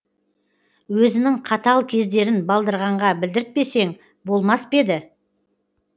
өзінің қатал кездерін балдырғанға білдіртпесең болмас па еді